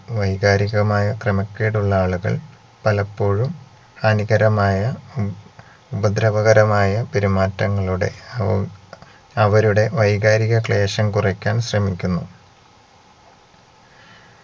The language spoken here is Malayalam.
വൈകാരികമായ ക്രമക്കേടുള്ള ആളുകൾ പലപ്പോഴും ഹാനികരമായ ഹും ഉപദ്രവകരമായ പെരുമാറ്റങ്ങളുടെ ഹും അവരുടെ വൈകാരിക ക്ലേശം കുറക്കാൻ ശ്രമിക്കുന്നു